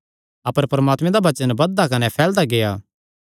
अपर परमात्मे दा वचन बधदा कने फैलदा गेआ